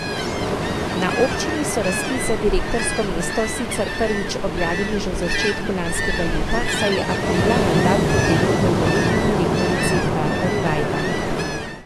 Na občini so razpis za direktorsko mesto sicer prvič objavili že v začetku lanskega leta, saj je aprila mandat potekel dolgoletni direktorici Barbari Vajda.